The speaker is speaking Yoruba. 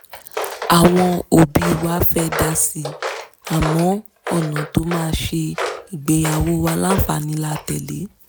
àwọn òbí wa fẹ́ dásíi àmọ́ ọ̀nà tó máa ṣe ìgbéyàwó wa láǹfààní la tẹ̀lé